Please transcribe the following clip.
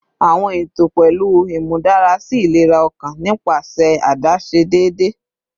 Awọn eto pẹlu imudarasi ilera ọkan nipasẹ adaṣe deede